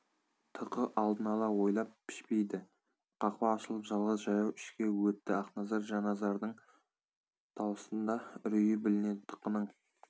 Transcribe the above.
тықы алдын-ала ойлап пішпейді қақпа ашылып жалғыз жаяу ішке өтті ақназар жанназардың дауысында үрей білінеді тықының